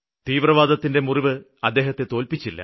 തീവ്രവാദത്തിന്റെ മുറിവ് അദ്ദേഹത്തെ തോല്പിച്ചില്ല